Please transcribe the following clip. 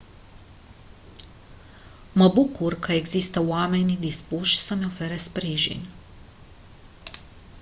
mă bucur că există oameni dispuși să-mi ofere sprijin